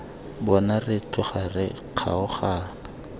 bona re tloga re kgaogana